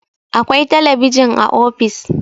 akwai talabijin a ofis